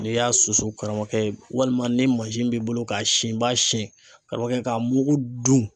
N'i y'a susu karamɔgɔkɛ walima ni mansin b'i bolo k'a sin i b'a sin karamɔgɔkɛ k'a mugu dun.